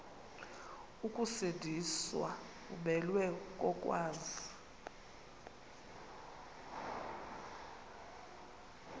ukusindiswa umelwe kokwazi